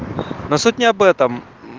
но суть не об этом